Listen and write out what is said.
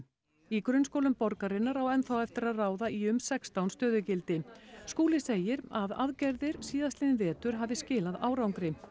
í grunnskólum borgarinnar á enn þá eftir að ráða í um sextán stöðugildi Skúli segir að aðgerðir síðastliðinn vetur hafi skilað árangri